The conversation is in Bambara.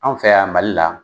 An fɛ yan Mali la